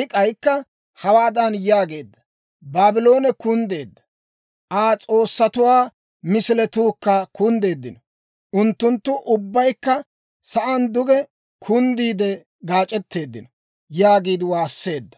I k'aykka hawaadan yaageedda; «Baabloone kunddeedda; Aa s'oossatuwaa misiletuukka kunddeeddino. Unttunttu ubbaykka sa'aan duge kunddiide gaac'etteeddino» yaagiide waasseedda.